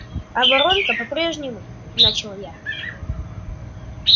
а воронка по-прежнему начал я